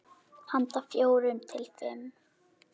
Handa fjórum til fimm